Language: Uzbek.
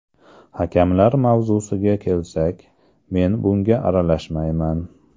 Hakamlar mavzusiga kelsak, men bunga aralashmayman.